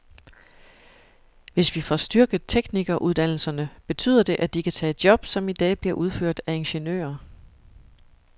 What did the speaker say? Hvis vi får styrket teknikeruddannelserne, betyder det, at de kan tage job, som i dag bliver udført af ingeniører.